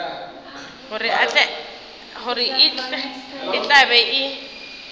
gore e tla be e